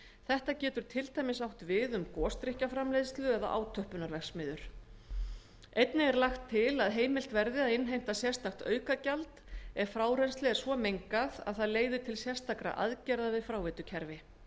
þetta getur til dæmis átt við um gosdrykkjaframleiðslu eða átöppunarverksmiðjur einnig er lagt til að heimilt verði að innheimta sérstakt aukagjald ef frárennsli er svo mengað að það leiði til sérstakra aðgerða við fráveitukerfið